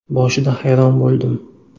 Boshida hayron bo‘ldim.